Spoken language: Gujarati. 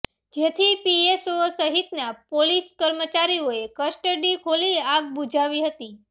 જેથી પીએસઓ સહિતના પોલીસ કર્મચારીઓએ કસ્ટડી ખોલી આગ બુઝાવી હતી